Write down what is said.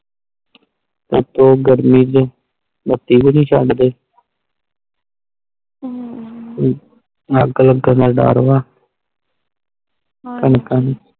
ਉਤੋਂ ਗਰਮੀ ਚ ਬੱਤੀ ਵੀ ਨਹੀਂ ਚਡ ਦੇ ਅਗ ਲੱਗਣ ਦਾ ਡਾਰ ਵਾ ਕਣਕਾਂ ਨੂੰ